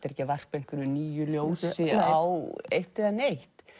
er ekki að varpa einhverju nýju ljósi á eitt eða neitt